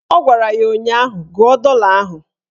Ọ gwara ya ụnyaahụ "Gụọ dọla ahụ"